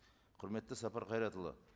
құрметті сапар қайратұлы